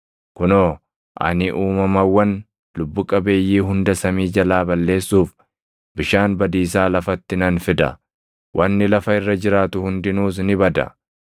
Kunoo, ani uumamawwan lubbu qabeeyyii hunda samii jalaa balleessuuf bishaan badiisaa lafatti nan fida; wanni lafa irra jiraatu hundinuus ni bada.